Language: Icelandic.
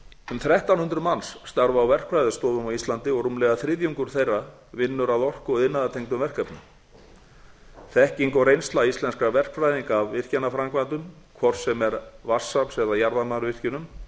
um þrettán hundruð manns starfa á verkfræðistofum á íslandi og rúmlega þriðjungur þeirra vinnur að orku og iðnaðartengdum verkefnum þekking og reynsla íslenskra verkfræðinga af virkjanaframkvæmdum hvort sem er vatnsafls eða jarðvarmavirkjunum